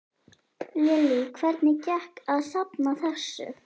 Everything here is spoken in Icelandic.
Lillý: Hvernig gekk að safna þessu?